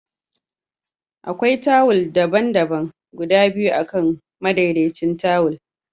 Akwai tawul daban-daban guda biyu akan madaidaicin tawul